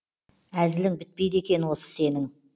әзілің бітпейді екен осы сенің